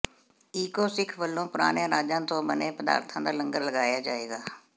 eco Sikh ਵੱਲੋਂ ਪੁਰਾਣੇ ਅਨਾਜਾਂ ਤੋਂ ਬਣੇ ਪਦਾਰਥਾਂ ਦਾ ਲੰਗਰ ਲਗਾਇਆ ਜਾਵੇਗਾ